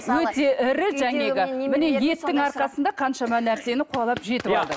өте ірі жаңағы міне еттің арқасында қаншама нәрсені қуалап жетіп алды